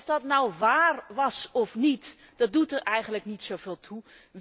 En of dat nou wáár was of niet, dat doet er eigenlijk niet zoveel toe.